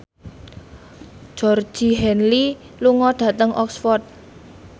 Georgie Henley lunga dhateng Oxford